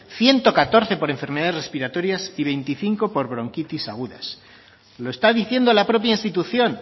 ciento catorce por enfermedades respiratorias y veinticinco por bronquitis agudas lo está diciendo la propia institución